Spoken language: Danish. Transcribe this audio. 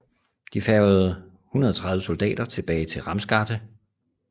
De færgede 130 soldater tilbage til Ramsgate